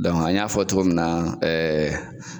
an y'a fɔ cogo min na ɛɛ